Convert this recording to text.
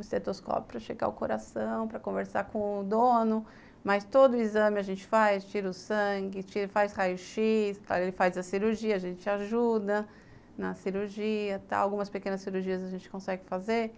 estetoscópio para chegar o coração, para conversar com o dono, mas todo o exame a gente faz, tira o sangue, faz raio-x, ele faz a cirurgia, a gente ajuda na cirurgia tal, algumas pequenas cirurgias a gente consegue fazer